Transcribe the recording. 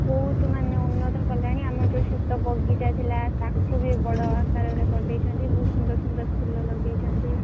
ବହୁତ ମାନେ ଉନ୍ନତର କଲେଣି ଆମର ଯଉ ଛୋଟ ବଗିଚା ଥିଲା ତାକୁ ବି ବଡ ଆକାରରେ କରିଦେଇଛନ୍ତି, ବହୁତ୍ ସୁନ୍ଦର୍ ସୁନ୍ଦର୍ ଫୁଲ ଲଗେଇଛନ୍ତି।